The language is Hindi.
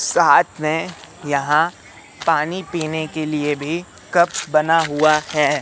साथ मे यहां पानी पीने के लिए भी कप बना हुआ है।